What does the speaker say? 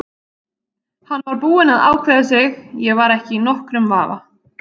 Hann var búinn að ákveða sig, ég var ekki í nokkrum vafa.